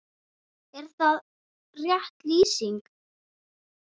Er það rétt lýsing?